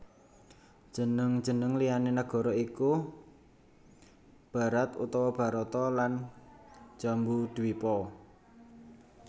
Jeneng jeneng liyané nagara iki iku Bharat utawa Bharata lan Jambudwipa